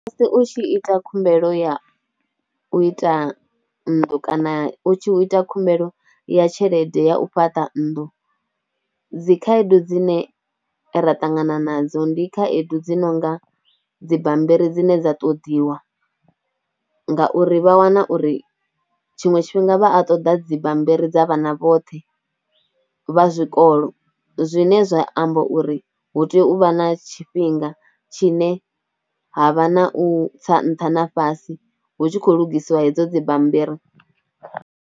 Musi u tshi ita khumbelo ya u ita nnḓu kana u tshi ita khumbelo ya tshelede ya u fhaṱa nnḓu, dzi khaedu dzine ra ṱangana nadzo ndi khaedu dzinonga, dzibammbiri dzine dza ṱoḓiwa ngauri vha wana uri tshiṅwe tshifhinga vha a ṱoḓa dzibammbiri dza vhana vhoṱhe vha zwikolo zwine zwa amba uri hu tea u vha na tshifhinga tshine ha vha na u tsa nṱha na fhasi hu tshi khou lugisiwa hedzo dzibammbiri.